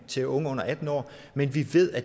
til unge under atten år men vi ved at